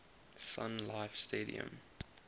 sun life stadium